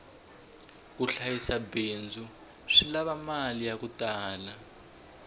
ku hlayisa bindzu swi lava mali yaku tala